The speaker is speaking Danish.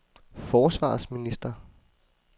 forsvarsminister